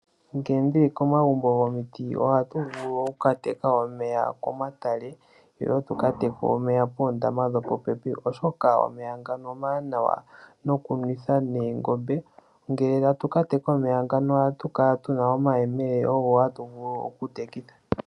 Ngele ndili komagumbo gomiti ohatu vulu wo okukateka omeya komatale noshowo tuka teke omeya poondama dhopopepi, oshoka omeya ngano omawanawa nokunwitha noongombe. Ngele tatu ka teka omeya ngano ohatu kala tuna omayemele ogo hatu vulu okutekitha.